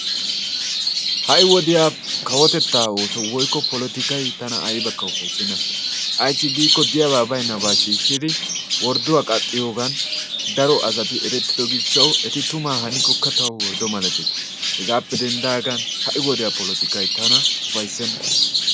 Ha'i wodiyaa Kawotetta oosso woykko polotikkay tana aybbakka ufayssena. ayssi giiko diyaaba baynnaba shiishshidi wordduwa qaxxiyoogan daro asati eretido gishshaw eti tuma hanikkokka tawu worddo malatees. Hegaappe denddagan ha'i wodiyaa polotikkay tana ufayssena.